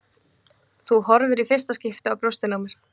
Þú horfir í fyrsta skipti á brjóstin á mér.